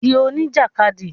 Di oní jàkadì